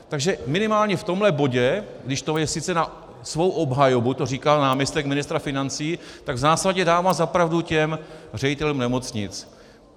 Takže minimálně v tomhle bodě, když to je sice na svou obhajobu, to říkal náměstek ministra financí, tak v zásadě dává za pravdu těm ředitelům nemocnic.